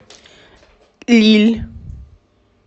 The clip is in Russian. лилль